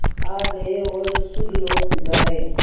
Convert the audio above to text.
आ गए और सुरलोक सिधारे